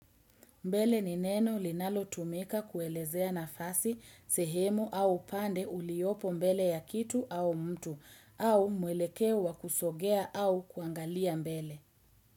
Mbele ni neno linalo tumika kuelezea nafasi, sehemu au upande uliopo mbele ya kitu au mtu au mwelekeo kusogea au kuangalia mbele.